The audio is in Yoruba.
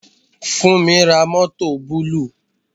Funmi ra mọ́tọ̀ búlúù.